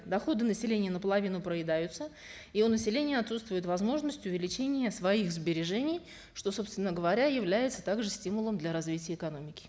доходы населения наполовину проедаются и у населения отсутствует возможность увеличения своих сбережений что собственно говоря является также стимулом для развития экономики